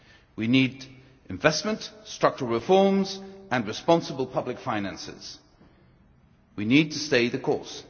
We need investment, structural reforms and responsible public finances. We need to stay the course.